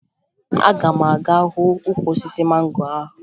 Aga m aga hụ ukwu osisi mango ahụ